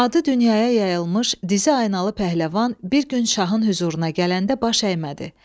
Adı dünyaya yayılmış Dizi Aynalı Pəhləvan bir gün şahın hüzuruna gələndə baş əymədi.